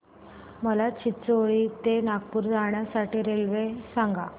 मला चिचोली ते नागपूर जाण्या साठी रेल्वे सांगा